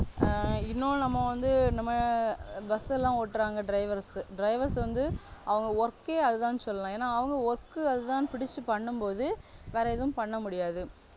ஆஹ் இன்னொண்ணு நம்ம வந்து நம்ம bus எல்லாம் ஓட்டுராங்க drivers drivers வந்து அவங்க work ஏ அதுதான்னு சொல்லலாம் ஏன்னா அவங்க work அதுதான்னு பிடிச்சு பண்ணும் போது வேற எதுவும் பண்ண முடியாது